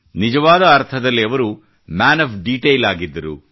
ನಿಜವಾದ ಅರ್ಥದಲ್ಲಿ ಅವರು ಮ್ಯಾನ್ ಆಫ್ ಡಿಟೇಲ್ ಆಗಿದ್ದರು